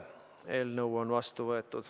Eelnõu on vastu võetud.